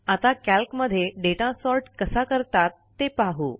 आता कॅल्क मध्ये data sort कसा करतात ते पाहू